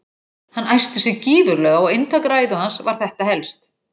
Hann æsti sig gífurlega og inntak ræðu hans var þetta helst